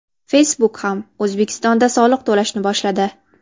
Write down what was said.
Facebook ham O‘zbekistonda soliq to‘lashni boshladi.